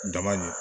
Dama ɲe